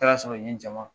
Taara sɔrɔ n ye jama